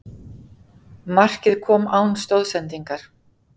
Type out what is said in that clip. Markið kom án stoðsendingar